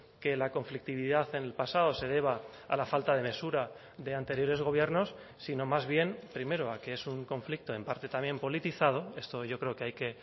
que la conflictividad en el pasado se deba a la falta de mesura de anteriores gobiernos sino más bien primero a que es un conflicto en parte también politizado esto yo creo que hay que